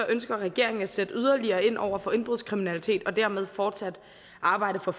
ønsker regeringen at sætte yderligere ind over for indbrudskriminalitet og dermed fortsat arbejde for